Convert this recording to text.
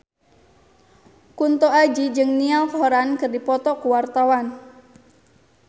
Kunto Aji jeung Niall Horran keur dipoto ku wartawan